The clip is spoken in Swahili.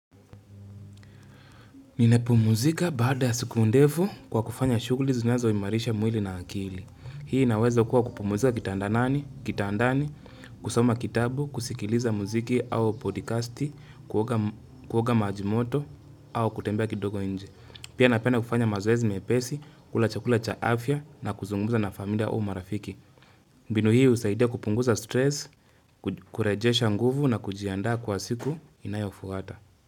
Ninapumzika baada ya siku ndefu kwa kufanya shughuli zinazoimarisha mwili na akili. Hii inaweza kuwa kupumzika kitandani, kitandani, kusoma kitabu, kusikiliza muziki au podcasti, kuoga maji moto au kutembea kidogo nje. Pia napenay kufanya mazoezi mepesi, kula chakula cha afya na kuzungumza na familia au marafiki. Mbinu hii husaidia kupunguza stress, kurejesha nguvu na kujiandaa kwa siku inayofuata.